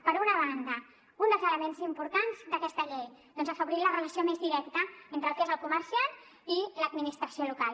per una banda un dels elements importants d’aquesta llei és afavorir la relació més directa entre el que és el comerciant i l’administració local